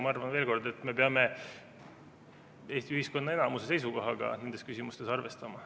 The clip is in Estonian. Ma arvan, veel kord, et me peame Eesti ühiskonna enamuse seisukohaga nendes küsimustes arvestama.